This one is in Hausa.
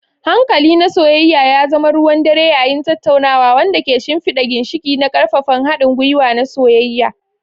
Hankali na soyayya ya zama ruwan dare yayin tattaunawa, wanda ke shimfida ginshiƙi na ƙaƙƙarfan haɗin gwiwa na soyayya.